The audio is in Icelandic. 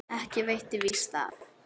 Ekki veitti víst af.